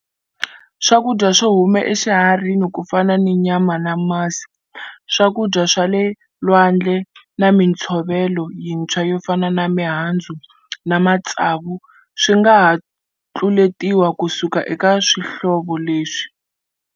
Swakudya swo huma eswiharhini ku fana ni nyama na masi, swakudya swa le lwandle na mitshovelo yintshwa yo fana na mihandzu na matsavu swi nga ha tluletiwa ku suka eka swihlovo leswi.